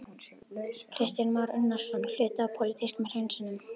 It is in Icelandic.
Kristján Már Unnarsson: Hluti af pólitískum hreinsunum?